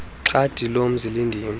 xhadi lomzi lindim